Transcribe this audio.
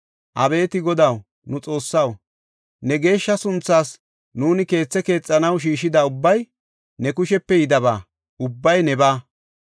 Abeeti Godaw, nu Xoossaw, ne geeshsha sunthaas nuuni keethe keexanaw shiishida ubbay ne kushepe yidaba; ubbay nebaa.